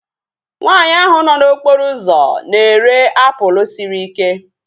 Nwaanyi ahu nọ n'okporo ụzọ na-ere apụl sịrị ike